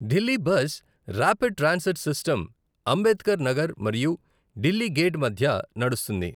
Delhi bus rapid transit system Ambedkar Nagar మరియు Delhi gate మధ్య నడుస్తుంది.